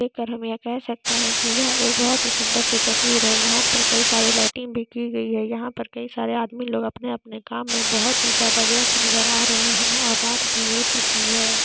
ये देख कर हम ये कह सकते है की यह एक बहुत ही सुंदर सी तस्वीर है यहाँ पे कई सारी लाइटिंग भी की गई है यहाँ पर कई सारे आदमी लोग सब अपने अपने काम में बहुत ही ज़्यादा व्यस्त नजर आ रहे है और रात भी हो चुकी है।